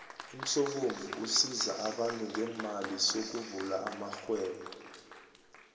umsobomvu usiza abantu ngeemali sokuvula amarhwebo